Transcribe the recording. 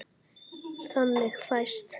Þannig fæst